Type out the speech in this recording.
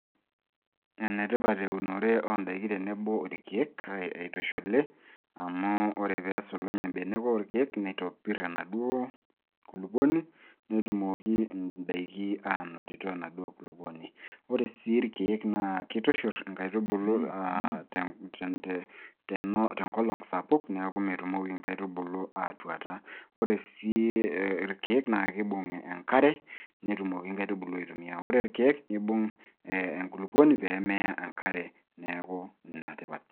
Enetipat eunore oondaiki tenebo ilkeek eitushuli amu ore peesulunye mbenek olkeek, neitopirr enaduo kulupuoni netumoki ndaiki aanotito enaduo kulupuoni. Ore sii ilkeek naa keitushurr nkaitubulu tenkolong sapuk neeku metumoki nkaitubulu aatuata. Ore sii ilkeek naa keibung' enkare netumoki nkaitubulu aitumia. Ore ilkeek neibung' enkulupuoni peemeya enkare neeku ina tipat.